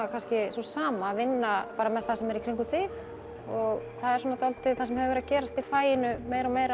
sú sama að vinna með það sem er í kringum þig það er dálítið það sem hefur verið að gerast í faginu meira og meira